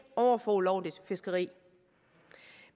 over for ulovligt fiskeri